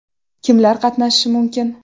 Kimlar qatnashishi mumkin?